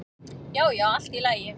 Já, já, allt í lagi